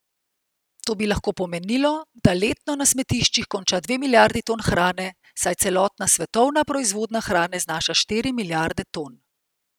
To bi lahko pomenilo, da letno na smetiščih konča dve milijardi ton hrane, saj celotna svetovna proizvodnja hrane znaša štiri milijarde ton.